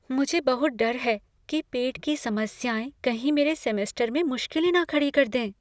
मुझे बहुत डर है कि पेट की समस्याएं कहीं मेरे सेमेस्टर में मुश्किलें ना खड़ी कर दें।